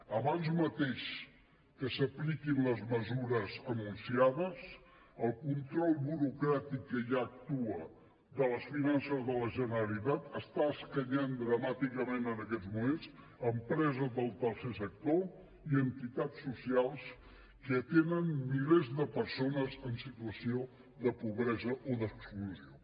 abans mateix que s’apliquin les mesures anunciades el control burocràtic que ja actua de les finances de la generalitat està escanyant dramàticament en aquests moments empreses del tercer sector i entitats socials que atenen milers de persones en situació de pobresa o d’exclusió